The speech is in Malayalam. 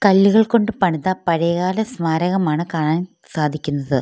കല്ലുകൾ കൊണ്ട് പണിത പഴയകാല സ്മാരകമാണ് കാണാൻ സാധിക്കുന്നത്.